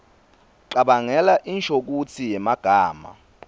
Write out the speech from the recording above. cabangela inshokutsi yemagama